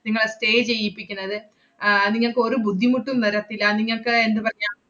നിങ്ങളെ stay ചെയ്യിപ്പിക്കുന്നത്. ആഹ് നിങ്ങക്ക് ഒറു ബുദ്ധിമുട്ടും വരത്തില്ല. നിങ്ങക്ക് എന്തു പറയാ~